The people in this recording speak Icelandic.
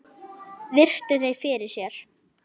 Virti þau fyrir sér.